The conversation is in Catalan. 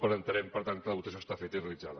entenem per tant que la votació està feta i realitzada